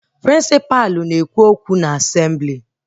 Prịnsịpa na-ekwu okwu na Asemblị